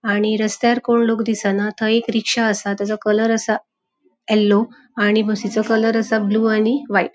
आणि रस्त्यार कोण लोक दिसना थय एक रिक्शा असा. त्यचो कलर असा. येल्लो आणि बसिचो कलर असा ब्लू आणि व्हाइट .